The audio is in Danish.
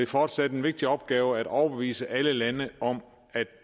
fortsat en vigtig opgave at overbevise alle lande om at